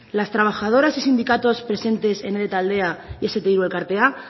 las trabajadoras y sindicatos presentes en ede taldea y ese te tres elkartea